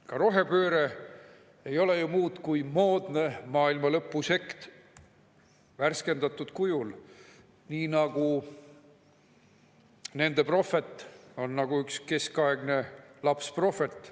Ka rohepööre ei ole ju muud kui moodne maailmalõpusekt värskendatud kujul, nii nagu nende prohvet on nagu üks keskaegne lapsprohvet.